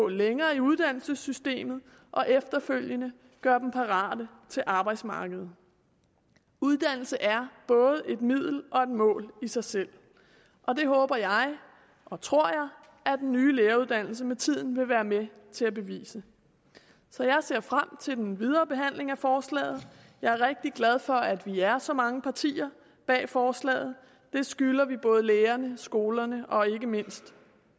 længere i uddannelsessystemet og efterfølgende gør dem parate til arbejdsmarkedet uddannelse er både et middel og et mål i sig selv og det håber og tror jeg at den nye læreruddannelse med tiden vil være med til at bevise så jeg ser frem til den videre behandling af forslaget jeg er rigtig glad for at vi er så mange partier bag forslaget det skylder vi både lærerne skolerne og ikke mindst